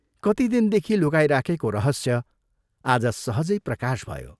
कति दिनदेखि लुकाइराखेको रहस्य आज सहजै प्रकाश भयो।